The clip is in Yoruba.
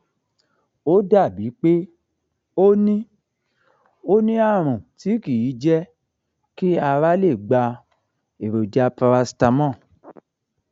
ó dàbíi pé ó ní ó ní àrùn tí kì í jẹ kí ara lè gba èròjà paracetamol